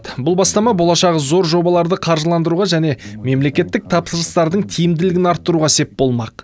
бұл бастама болашағы зор жобаларды қаржыландыруға және мемлекеттік тапсырыстардың тиімділігін арттыруға сеп болмақ